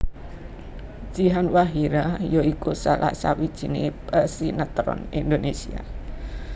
Jihan Fahira ya iku salah sawijiné pesinetron Indonésia